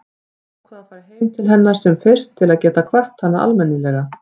Ég ákvað að fara heim til hennar sem fyrst til að geta kvatt hana almennilega.